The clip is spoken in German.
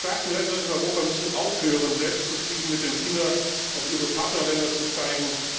Die starken Länder in Europa müssen aufhören, selbstzufrieden mit dem Finger auf ihre Partnerländer zu zeigen.